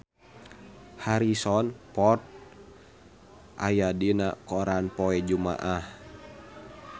Harrison Ford aya dina koran poe Jumaah